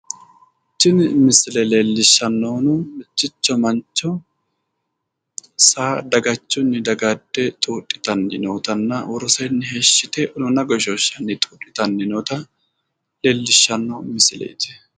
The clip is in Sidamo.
Tini misile leellishshannohuno mitticho mancho saa dagachunni dagaadde xuudhitanni nootanna woroseenni heeshshi yite unuuna goshooshshanni noota leellishshanno isileeti.